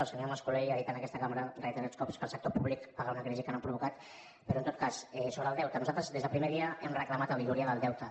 el senyor mascolell ha dit en aquesta cambra reiterats cops que el sector públic paga una crisi que no ha provocat però en tot cas sobre el deute nosaltres des del primer dia hem reclamat auditoria del deute